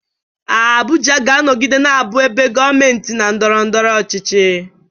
Abuja ga-anọgide na-abụ ebe gọọmenti na ndọrọ ndọrọ ọchịchị.